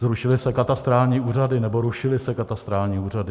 Zrušily se katastrální úřady nebo rušily se katastrální úřady.